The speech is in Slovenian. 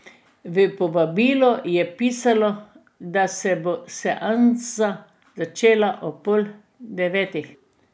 V povabilu je pisalo, da se bo seansa začela ob pol devetih.